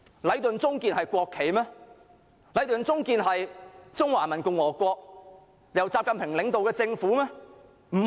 "禮頓―中建聯營"是中華人民共和國由習近平領導的政府嗎？